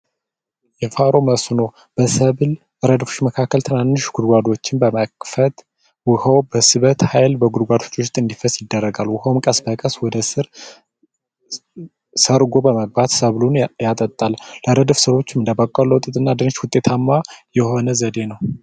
የፋሮ መስኖ በሰብል ረድፍ መካከል ትናንሽ ጉርጓዶችን በመክፈት ውሀው በስበት ኃይል ጉድጓዶች ውስጥ እንዲፈስ ይደረጋል። ውሃውም ቀስ በቀስ ወደ ስር ሰርጎ በመግባት ሰብሉን ያጠጣል። ያደሞ ለስሮቹ እንደበቆሎና ስንዴ ውጤታማ የሆነ ዘዴ ነው።